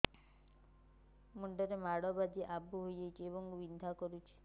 ମୁଣ୍ଡ ରେ ମାଡ ବାଜି ଆବୁ ହଇଯାଇଛି ଏବଂ ବିନ୍ଧା କରୁଛି